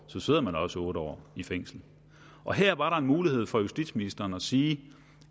sidder man også otte år i fængsel her var der en mulighed for justitsministeren at sige